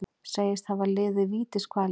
Segist hafa liðið vítiskvalir